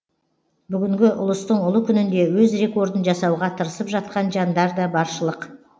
бүгінгі ұлыстың ұлы күнінде өз рекордын жасауға тырысып жатқан жандар да баршылық